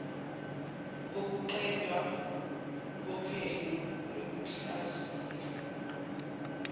kokuqedwa kophenyo lokuhlaziya